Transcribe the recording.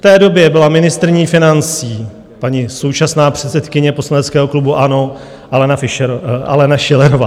V té době byla ministryní financí paní současná předsedkyně poslaneckého klubu ANO Alena Fišerová...